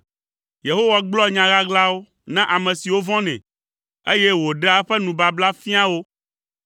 Yehowa gblɔa nya ɣaɣlawo na ame siwo vɔ̃nɛ, eye wòɖea eƒe nubabla fiaa wo.